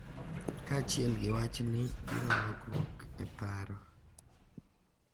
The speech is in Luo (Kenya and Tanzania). Kaachiel gi wachni, biro lokruok e paro,